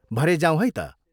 भरे जाऔँ है त।